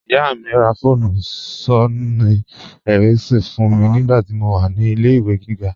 Iyá mi rá fóònù Sónìì Éríkínsọn fún mi nigbàtí mó wà ní ilẹ̀-ìwé gígá.